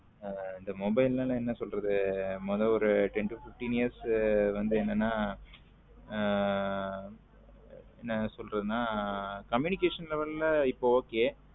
இந்த mobile லம் என்ன சொல்லுறது மோத ஒரு ten to fifteen years வந்து என்னன்னா ஹம் என்ன சொல்லுறதுன communication level ல இப்போ okay.